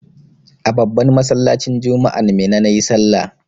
A babban masallacin juma'an Minna na yi sallah.